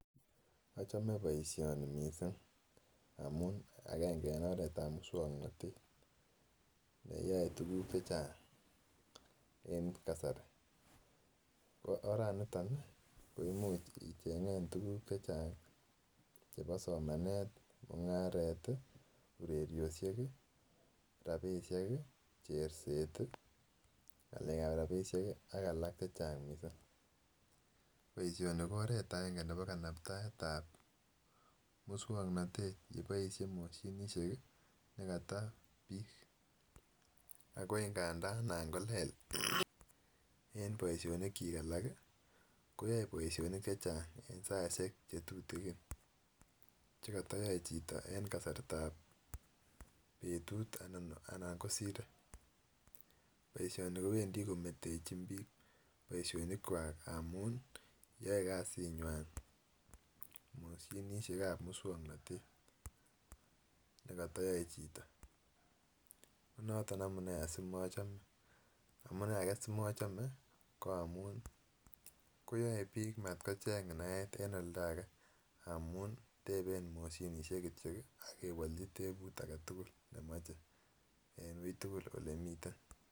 Ochomegee boishoni missing amun agenge en oret ab muswoknotet neyoe tukuk chachang en kasari ko oraniton nii ko imuch ichenge tukul chechang chebo somanet, mungaret tii, rabishek kii, urerioshek kii, cherset tii ngalek ab rabishek kii ak alak chechang missing. Boishoni ko oret agenge nebo kanaptae tab muswoknotete neboishe moshinishek. Kik nekoto bik ako nganda nan kolel en boishonik chik alak kii koyoe boishonik chechang en saishek chetutukin chekotoyoe chito en kasartab betut anan kosire. Boishoni kowendii kometechin bik boishonik kwak amun yoe kasinywan moshinishek ab muswoknotet nekotoyoe chito, ko noton amunee asikomochome. Amunee age simochome ko amun koyoe bik matkocheng naet en oldage amun tepen moshinishek kityok kii ak kewolji teput agetukul memoche en wui tukul ole miten.